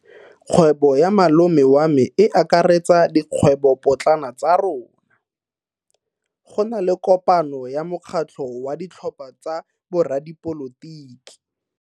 Kgwebo ya malome wa me e akaretsa dikgwebopotlana tsa rona. Go na le kopano ya mokgatlho wa ditlhopha tsa boradipolotiki.